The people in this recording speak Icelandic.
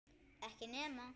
Ekki nema?